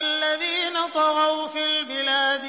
الَّذِينَ طَغَوْا فِي الْبِلَادِ